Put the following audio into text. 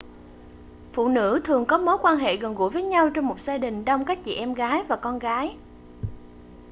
phụ nữ thường có mối quan hệ gần gũi với nhau trong một gia đình đông các chị em gái và con gái